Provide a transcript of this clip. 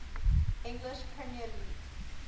english premier league